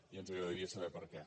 i ens agradaria saber per què